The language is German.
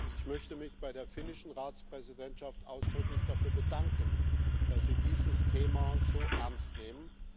Ich möchte mich bei der finnischen Ratspräsidentschaft ausdrücklich dafür bedanken, dass Sie dieses Thema so ernst nehmen.